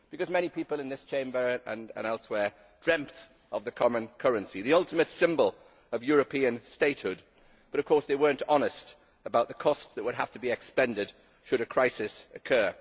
Many people in this Chamber and elsewhere dreamt of the common currency, the ultimate symbol of European statehood, but of course they were not honest about the cost that would have to be exacted should a crisis occur.